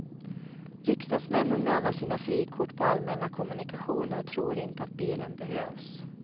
Riksdagsmännen med alla sina frikort på allmänna kommunikationer tror inte att bilen behövs.